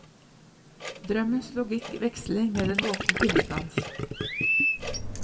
Drømmens logikk veksler med den våkne tilstands.